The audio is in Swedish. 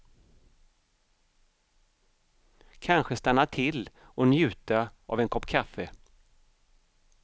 Kanske stanna till och njuta av en kopp kaffe.